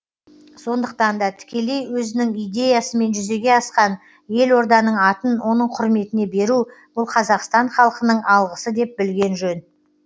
сондықтан да тікелей өзінің идеясымен жүзеге асқан елорданың атын оның құрметіне беру бұл қазақстан халқының алғысы деп білген жөн